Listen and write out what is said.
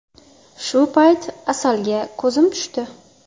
Shu payt Asalga ko‘zim tushdi.